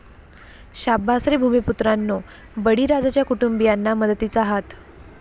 शाब्बास रे भूमिपुत्रांनो, बळीराजाच्या कुटुंबीयांना मदतीचा हात